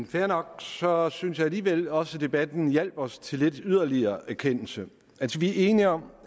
fair nok så synes jeg alligevel også at debatten hjalp os til lidt yderligere erkendelse altså vi er enige om